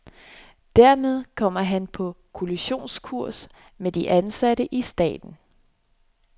Dermed kommer han på kollisionskurs med de ansatte i staten.